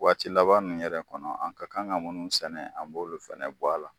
Waati laban nunnu yɛrɛ kɔnɔ, an ka kan ka munnu sɛnɛ an b'o fɛnɛ bɔ a la.